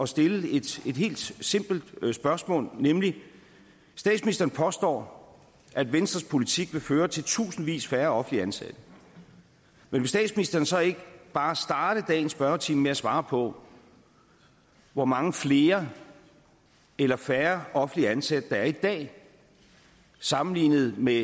stille et helt simpelt spørgsmål nemlig statsministeren påstår at venstres politik vil føre til tusindvis færre offentligt ansatte men vil statsministeren så ikke bare starte dagens spørgetime med at svare på hvor mange flere eller færre offentligt ansatte der er i dag sammenlignet med